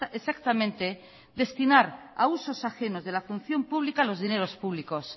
exactamente destinar a usos ajenos de la función pública los dinero públicos